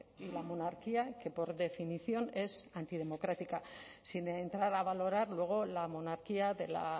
y la monarquía que por definición es antidemocrática sin entrar a valorar luego la monarquía de la